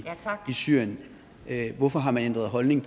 syrien hvorfor har man ændret holdning